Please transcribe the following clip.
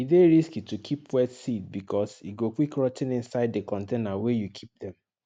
e dey risky to keep wet seed because e go quick rot ten inside di container wey you keep dem